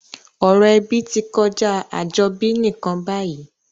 Ọ̀rọ̀ ebí ti kojá àjobí nìkan bayìí